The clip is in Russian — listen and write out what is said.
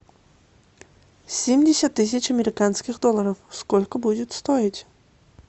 семьдесят тысяч американских долларов сколько будет стоить